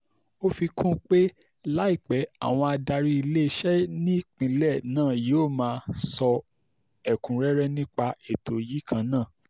ó fi kún un pé láìpẹ́ àwọn adarí iléeṣẹ́ nípínlẹ̀ náà yóò máa sọ ẹ̀kúnrẹ́rẹ́ nípa ètò yìí kan náà